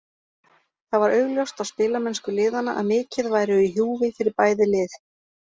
Það var augljóst á spilamennsku liðanna að mikið væru í húfi fyrir bæði lið.